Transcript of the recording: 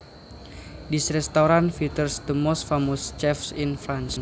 This restaurant features the most famous chefs in France